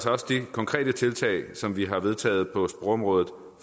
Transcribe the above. også de konkrete tiltag som vi har vedtaget på sprogområdet